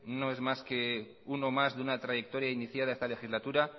no es más que uno más que uno más de una trayectoria iniciada esta legislatura